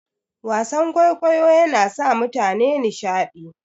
Wasan kwaikwayo yana sa mutane nishadi.